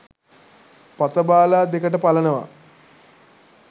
පතබාලා දෙකට පලනවා